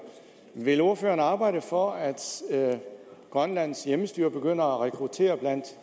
er vil ordføreren arbejde for at grønlands hjemmestyre begynder at rekruttere blandt